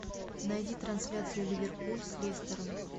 найди трансляцию ливерпуль с лестером